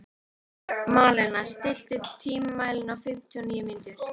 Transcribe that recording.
Malena, stilltu tímamælinn á fimmtíu og níu mínútur.